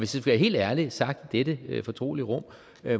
skal være helt ærlig sagt i dette fortrolige rum